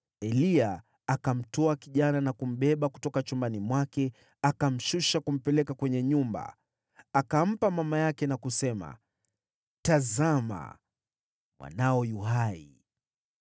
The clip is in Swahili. Eliya akamtwaa kijana na kumbeba kutoka chumbani mwake akamshusha kumpeleka kwenye nyumba. Akampa mama yake na kusema, “Tazama, mwanao yu hai!”